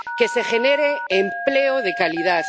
que se genere empleo de calidad